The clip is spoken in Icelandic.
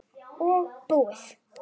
Og búið.